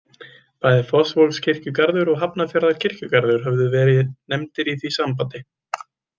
Bæði Fossvogskirkjugarður og Hafnarfjarðarkirkjugarður höfðu verið nefndir í því sambandi.